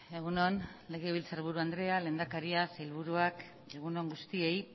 egun on legebiltzarburu andrea lehendakaria sailburuak egun on guztiei